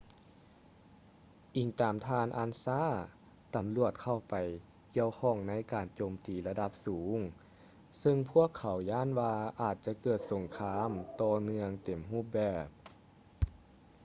ອີງຕາມທ່ານ ອານຊາ ansa ຕຳຫຼວດເຂົ້າໄປກ່ຽວຂ້ອງໃນການໂຈມຕີລະດັບສູງ ຊຶ່ງພວກເຂົາຢ້ານວ່າອາດຈະເກີດສົງຄາມຕໍ່ເນື່ອງເຕັມຮູບແບບ